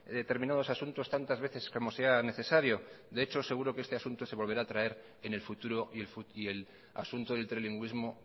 determinados asuntos tantas veces como sea necesario de hecho seguro que este asunto se volverá a traer en el futuro y el asunto del trilingüismo